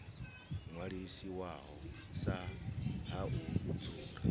ṅwalisiwaho sa ha u dzula